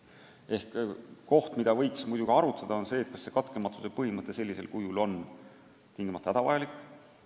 Seega võiks arutada, kas katkematuse põhimõte sellisel kujul on tingimata hädavajalik.